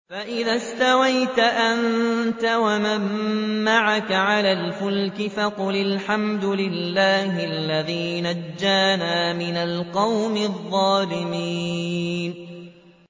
فَإِذَا اسْتَوَيْتَ أَنتَ وَمَن مَّعَكَ عَلَى الْفُلْكِ فَقُلِ الْحَمْدُ لِلَّهِ الَّذِي نَجَّانَا مِنَ الْقَوْمِ الظَّالِمِينَ